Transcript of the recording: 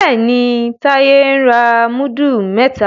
Béèni Taye ń ra mudu mẹta.